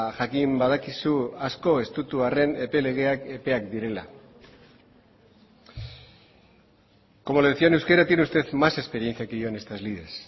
jakin badakizu asko estutu arren epe legeak epeak direla como le decía en euskera tiene usted más experiencia que yo en estas lides